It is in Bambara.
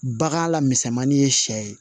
Bagan la misɛnmani ye sɛ ye